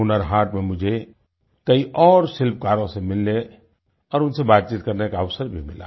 हुनर हाट में मुझे कई और शिल्पकारों से मिलने और उनसे बातचीत करने का अवसर भी मिला